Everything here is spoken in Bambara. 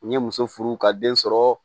U ye muso furu ka den sɔrɔ